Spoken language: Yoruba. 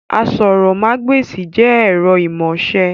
Àsòrọmagbesi jẹ ẹ̀rọ imọ̀ọ́ṣe